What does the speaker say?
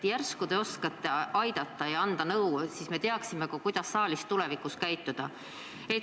Järsku te oskate aidata ja nõu anda, siis me teaksime ka, kuidas saalis tulevikus käituda.